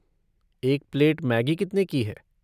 एक plate Maggi कितने की है?